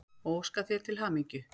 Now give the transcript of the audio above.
og óska þér til hamingju.